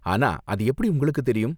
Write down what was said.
ஆனா, அது எப்படி உங்களுக்கு தெரியும்?